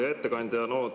Hea ettekandja!